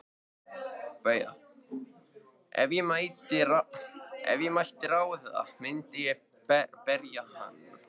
BAUJA: Ef ég mætti ráða myndi ég berja hann.